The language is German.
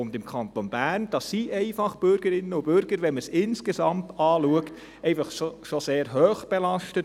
Und im Kanton Bern sind Bürgerinnen und Bürger, wenn man es insgesamt betrachtet, schon sehr stark belastet.